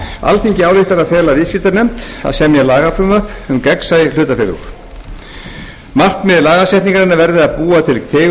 alþingi ályktar að fela viðskiptanefnd að semja lagafrumvarp um gegnsæ hlutafélög markmið lagasetningarinnar verði að búa til